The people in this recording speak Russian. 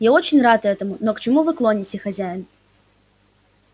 я очень рад этому но к чему вы клоните хозяин